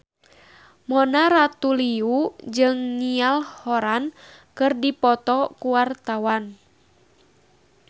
Mona Ratuliu jeung Niall Horran keur dipoto ku wartawan